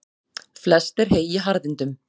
Flest er hey í harðindum.